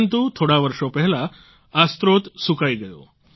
પરંતુ થોડા વર્ષો પહેલાં આ સ્ત્રોત સૂકાઈ ગયો